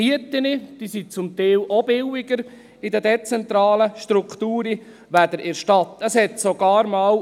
Die Mieten sind in den dezentralen Strukturen zum Teil auch billiger als in der Stadt.